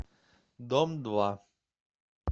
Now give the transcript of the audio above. дом два